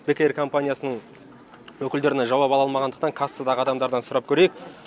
бек эйр компаниясының өкілдерінен жауап ала алмағандықтан кассадағы адамдардан сұрап көрейік